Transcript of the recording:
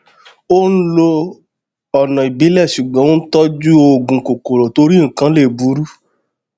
ó n lo ọnà ìbílẹ ṣùgbọn ó n tọjú òògùn kòkòrò torí nnkan lè burú